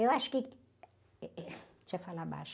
Eu acho que... Deixa eu falar baixo.